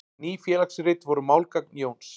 Ný félagsrit voru málgagn Jóns.